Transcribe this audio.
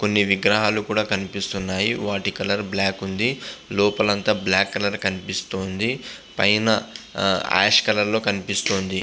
కొని విగ్రహాలు కూడా కనిపిస్తున్నాయి. వాటి కలర్ బ్లాక్ ఉంది. లోపాల మోతము బ్లాక్ కలర్ కనిపిస్తుంది. పైన యష్ కలర్ లో కనిపిస్తున్నది.